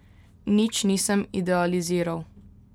Nič nisem idealiziral.